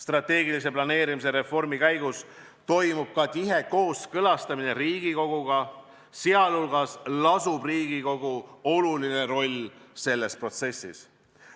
Strateegilise planeerimise reformi käigus toimub ka tihe kooskõlastamine Riigikoguga, sh on Riigikogul oluline roll selles protsessis.